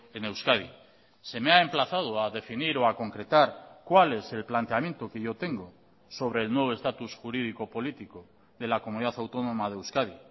en euskadi se me ha emplazado a definir o a concretar cuál es el planteamiento que yo tengo sobre el nuevo estatus jurídico político de la comunidad autónoma de euskadi